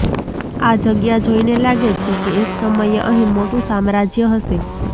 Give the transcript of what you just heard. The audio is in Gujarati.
આ જગ્યા જોઈને લાગે છે કે એક સમયે અહીં મોટું સામ્રાજ્ય હશે